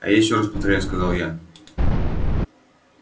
а я ещё раз повторяю сказал я